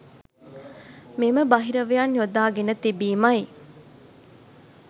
මෙම බහිරවයන් යොදා ගෙන තිබීමයි